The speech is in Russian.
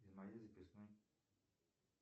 из моей записной